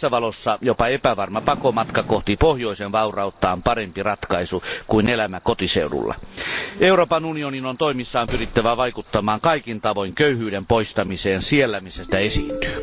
Tässä valossa jopa epävarma pakomatka kohti pohjoisen vaurautta on parempi ratkaisu kuin elämä kotiseudulla. Euroopan unionin on toimissaan pyrittävä vaikuttamaan kaikin tavoin köyhyyden poistamiseen siellä missä sitä esiintyy.